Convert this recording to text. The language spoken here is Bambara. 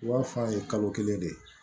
I b'a f'a ye kalo kelen de